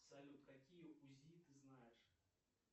салют какие узи ты знаешь